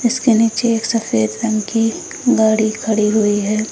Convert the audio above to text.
इसके नीचे एक सफेद रंग की गाड़ी खड़ी हुई है।